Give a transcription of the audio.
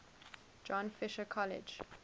john fisher college